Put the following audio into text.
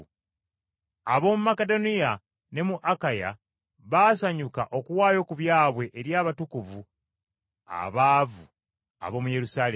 Ab’omu Makedoniya ne mu Akaya baasanyuka okuwaayo ku byabwe eri abatukuvu abaavu ab’omu Yerusaalemi.